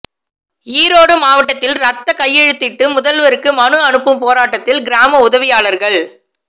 ஈரோடு மாவட்டத்தில் இரத்தக் கையெழுத்திட்டு முதல்வருக்கு மனு அனுப்பும் போராட்டத்தில் கிராம உதவியாளர்கள்